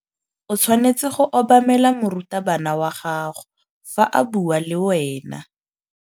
O tshwanetse go obamela morutabana wa gago fa a bua le wena.